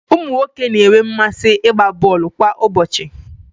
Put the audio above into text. ụmụ nwoke na-enwe mmasị ịgba bọọlụ kwa ụbọchị